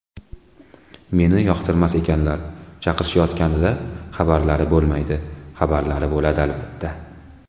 Meni yoqtirmas ekanlar, chaqirishayotganida xabarlari bo‘lmaydi, xabarlari bo‘ladi, albatta.